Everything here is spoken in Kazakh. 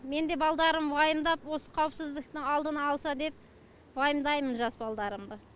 мен де балдарым уайымдап осы қауіпсіздіктің алдын алса деп уайымдаймын жас балдарымды